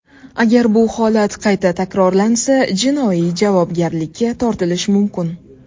Agar bu holat qayta takrorlansa, jinoiy javobgarlikka tortilish mumkin.